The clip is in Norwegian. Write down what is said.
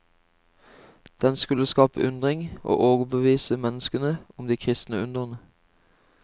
Den skulle skape undring og overbevise menneskene om de kristne undrene.